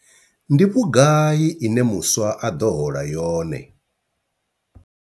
Ndi vhugai ine muswa a ḓo hola yone?